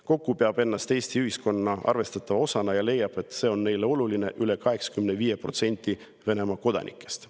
Kokku peab ennast Eesti ühiskonna arvestatavaks osaks ja leiab, et see on neile oluline, üle 85% Venemaa kodanikest.